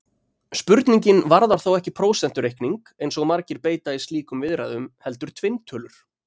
Spurningin varðar þó ekki prósentureikning, eins og margir beita í slíkum viðræðum, heldur tvinntölur!